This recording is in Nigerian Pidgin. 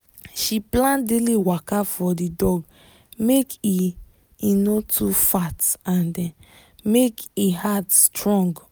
she plan daily waka for the dog make e e no too fat and make e heart strong